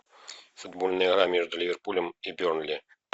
футбольная игра между ливерпулем и бернли